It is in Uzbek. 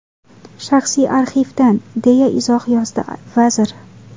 Shaxsiy arxivdan”, deya izoh yozdi vazir.